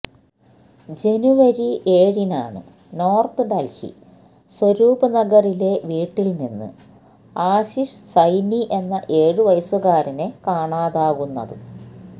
ജനുവരി ഏഴിനാണ് നോർത്ത് ഡൽഹി സ്വരൂപ് നഗറിലെ വീട്ടിൽ നിന്ന് ആശിഷ് സൈനി എന്ന ഏഴുവയസുകാരനെ കാണാതാകുന്നത്